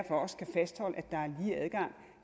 også kan fastholde at der er lige adgang